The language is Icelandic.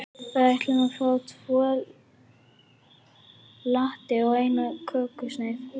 Við ætlum að fá tvo latte og eina kökusneið.